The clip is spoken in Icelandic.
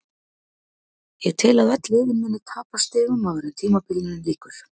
Ég tel að öll liðin muni tapa stigum áður en tímabilinu lýkur.